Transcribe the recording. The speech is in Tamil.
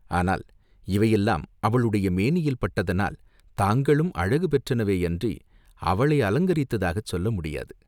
ஆனால் இவையெல்லாம் அவளுடைய மேனியில் பட்டதனால் தாங்களும் அழகு பெற்றனவேயன்றி, அவளை அலங்கரித்ததாகச் சொல்ல முடியாது.